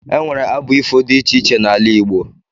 E nwere abụ ifo dị iche iche n'ala Igbo